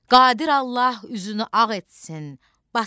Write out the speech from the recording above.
Qadir Allah üzünü ağ etsin.